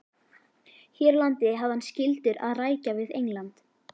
Hér á landi hafði hann skyldur að rækja við England.